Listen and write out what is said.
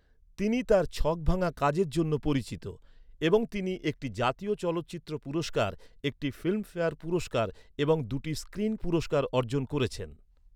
তিনি তার ছকভাঙ্গা কাজের জন্য পরিচিত, এবং তিনি একটি জাতীয় চলচ্চিত্র পুরস্কার, একটি ফিল্মফেয়ার পুরস্কার এবং দুটি স্ক্রিন পুরস্কার অর্জন করেছেন।